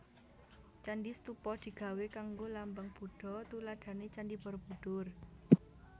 Candi stupa digawé kanggo lambang Budha tuladhané Candhi Borobudur